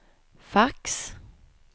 fax